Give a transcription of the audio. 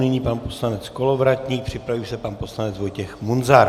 Nyní pan poslanec Kolovratník, připraví se pan poslanec Vojtěch Munzar.